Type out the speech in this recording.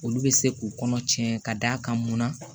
Olu bɛ se k'u kɔnɔ cɛ ka d'a kan munna